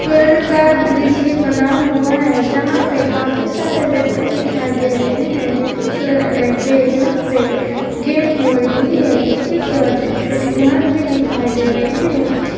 Field का दृश्य बना हुआ है जहां पे काफी सारे व्यक्ति दिखाई दे रहे हैं जिनकी कलर अनेक है यहां पे गेम हो रही है नीचे की ओर छोटी छोटी घास भी दिखाई दे रहे हैं।